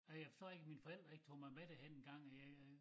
Og jeg forstår ikke mine forældre ikke tog mig med derhen engang jeg jeg